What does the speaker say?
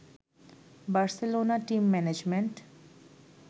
Barcelona team management